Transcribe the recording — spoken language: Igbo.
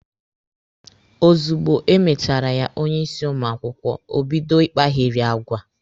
Ozugbo e mechara ya onye isi ụmụ akwụkwọ, o bido ịkpagheri agwa.